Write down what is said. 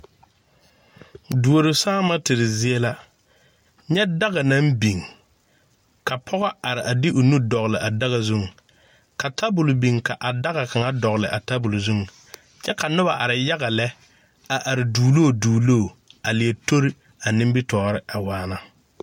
Duoro saama tere zie la, nyɛ daka naŋ biŋ, ka pɔge are a de o nuu dɔgle a daka zuŋ, ka tabol biŋ ka daka kaŋa dɔgle a tabol zuŋ kyɛ ka noba are yaga lɛ a are duoloŋ duoloŋ, a leɛ tori a nimiri tɔɔre a waana.